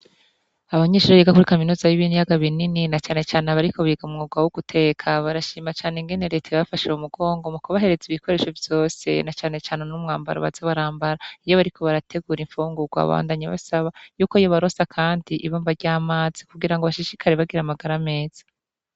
Abanyeshure biga kuri Kaminuza y'ibiyaga binini na cane cane abariko biga umwuga woguteka barashima cane ukuntu reta yabafashe mumugongo mukubahereza ibikoresho vyose na cane cane n'umwambaro baza barambara nacane cane iyo bariko bategura imfungurwa ariko bakabandanya basaba ko yobaronsa ibomba ry'amazi kugira bashishikare bagira magara meza.